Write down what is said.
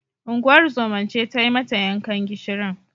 Unguwar zoman ce tai mata yankan gishirin.